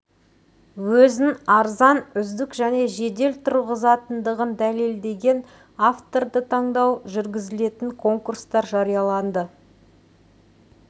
өзін арзан үздік және жедел тұрғызатындығын дәлелдеген авторды таңдау жүргізілетін конкурстар жарияланды